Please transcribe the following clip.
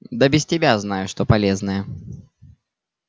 да без тебя знаю что полезное